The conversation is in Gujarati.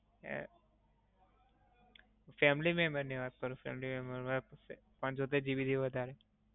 family member વાત કરું. family member, પંચોતેર GB થી વધારે.